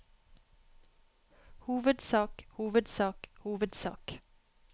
hovedsak hovedsak hovedsak